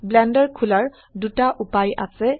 blender খোলাৰ দুটা উপায় আছে